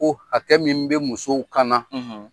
Ko hakɛ min bɛ musow kana